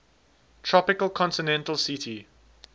tropical continental ct